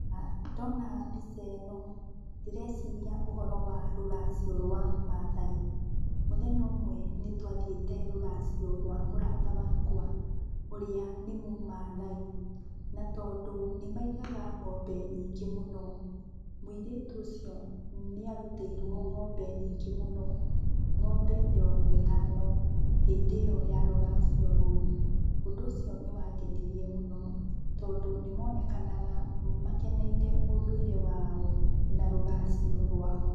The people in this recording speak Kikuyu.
Ndona mbica ĩno ndĩreciria ũhoro wa rũracio rwa Maathai. Mũthenya ũmwe nĩtwatiĩte rũracio rwa mũrata wakwa ũrĩa nĩ Mũmaathai. Na, tondũ nĩmaigaga ng'ombe nyingĩ mũno, mũirĩtu ũcio nĩarutĩirwo ng'ombe nyingĩ mũno, ng'ombe mĩrongo ĩtano hĩndĩ ĩyo ya rũracio rũu. Ũndũ ũcio nĩwangenirie mũno, tondũ nĩmonekanaga makeneire ũndũire wao na rũracio rwao.